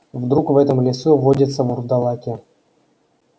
вдруг в этом лесу водятся вурдалаки